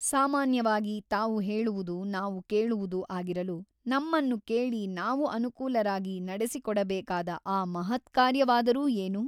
ಸಾಮಾನ್ಯವಾಗಿ ತಾವು ಹೇಳುವುದು ನಾವು ಕೇಳುವುದು ಆಗಿರಲು ನಮ್ಮನ್ನು ಕೇಳಿ ನಾವು ಅನುಕೂಲರಾಗಿ ನಡೆಸಿಕೊಡಬೇಕಾದ ಆ ಮಹತ್ಕಾರ್ಯವಾದರೂ ಏನು ?